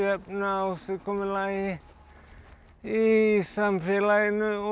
ásigkomulagi í samfélaginu og